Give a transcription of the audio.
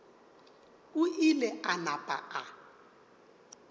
o ile a napa a